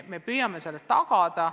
Me püüame seda tagada.